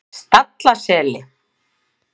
Stallaseli